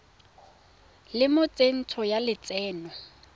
le mo tsentsho ya lotseno